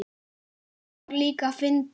Það var líka fyndið.